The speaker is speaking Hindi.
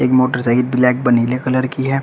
एक मोटरसाइकिल ब्लैक व नीले कलर की है।